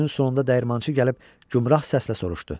Günün sonunda dəyirmançı gəlib gümrah səslə soruşdu: